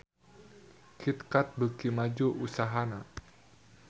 Kit Kat beuki maju usahana